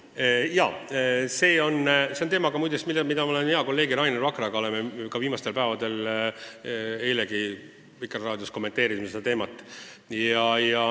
Jaa, see on teema, mida me oleme hea kolleegi Rainer Vakraga ka arutanud, eilegi Vikerraadios kommenteerisime seda.